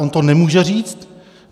On to nemůže říct.